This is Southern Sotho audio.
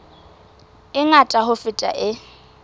e ngata ho feta e